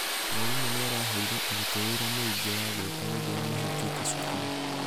mwarimũ nĩaraheire arutwo wĩra mũingĩ wa gũĩka rĩria mahingĩte cukuru.